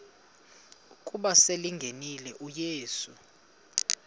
ukuba selengenile uyesu